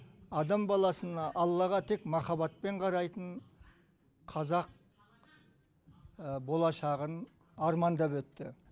адам баласына аллаға тек махаббатпен қарайтын қазақ болашағын армандап өтті